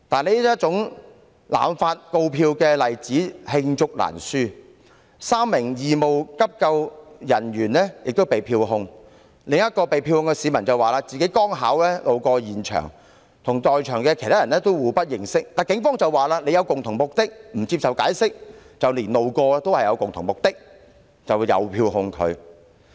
這種濫發告票的例子罄竹難書，例如有3名義務急救人員被票控，另一名被票控市民則指自己剛巧路過，跟其他在場人士互不認識，但警方卻指稱他們具有共同目的，不接受解釋，連路過的人也遭到票控。